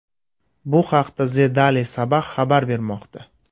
Bu haqda The Daily Sabah xabar bermoqda .